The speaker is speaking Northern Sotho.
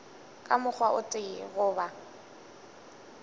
ka mokgwa o tee goba